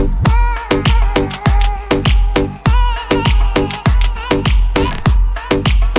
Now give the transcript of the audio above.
кт кубки